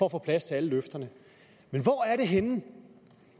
at få plads til alle løfterne men hvor er det henne